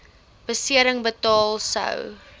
besering betaal sou